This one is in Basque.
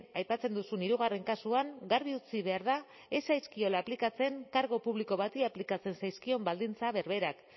aipatzen duzun hirugarren kasuan garbi utzi behar da ez zaizkiola aplikatzen kargu publiko bati aplikatzen zaizkion baldintza berberak